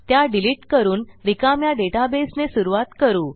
त्या डिलिट करून रिकाम्या डेटाबेसने सुरूवात करू